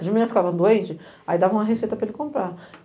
As meninas ficavam doentes, aí dava uma receita para ele comprar.